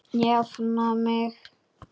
Jafna mig!